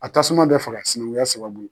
A tasuma bɛ faga sinankunya sababu.